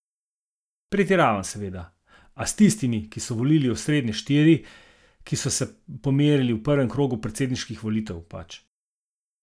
Pretiravam seveda, a s tistimi, ki so volili osrednje štiri, ki so se pomerili v prvem krogu predsedniških volitev, pač.